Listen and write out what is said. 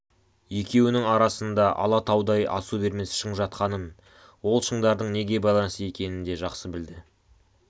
екеуінің арасында алатаудай асу бермес шың жатқанын ол шыңдардың неге байланысты екенін де жақсы білді